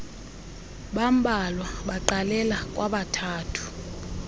bambalwa baqalela kwabathathu